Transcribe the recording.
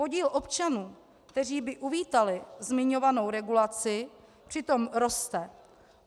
Podíl občanů, kteří by uvítali zmiňovanou regulaci, přitom roste.